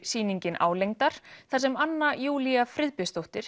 sýningin álengdar þar sem Anna Júlía Friðbjörnsdóttir